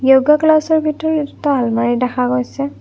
য়ৌগা ক্লাছৰ ভিতৰত এটা আলমৰি দেখা গৈছে।